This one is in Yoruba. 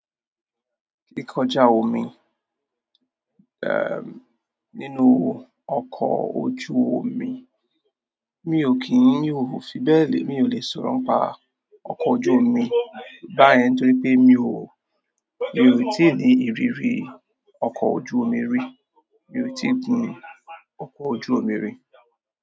Kíkọjá omi, eh, nínú ọkọ̀ ojú omi. Mi ò kín mi òò fi bẹ́ẹ̀ lè, mi ò lè sọ̀rọ̀ ń pa ọkọ ojú omi báyẹn torí pé mi ò, mi ò tíì ní ìrírí ọkọ ojú omi rí. Mi ò tíì gun ọkọ ojú omi rí.